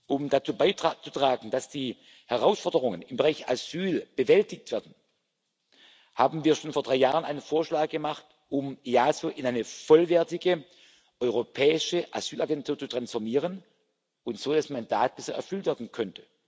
Um dazu beizutragen, dass die Herausforderungen im Bereich Asyl bewältigt werden, haben wir schon vor drei Jahren einen Vorschlag gemacht, um das EASO in eine vollwertige europäische Asylagentur zu transformieren, damit das Mandat besser erfüllt werden kann.